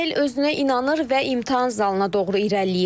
Günel özünə inanır və imtahan zalına doğru irəliləyir.